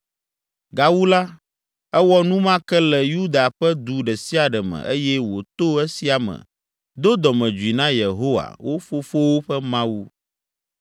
Gawu la, ewɔ nu ma ke le Yuda ƒe du ɖe sia ɖe me eye wòto esia me do dɔmedzoe na Yehowa, wo fofowo ƒe Mawu.